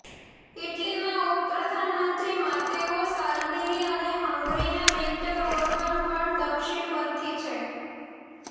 ઈટલીમાં ઉપપ્રધાનમંત્રી Matteo Salvini અને હંગરીના વિક્ટર ઓરબન પણ દક્ષિણપંથી છે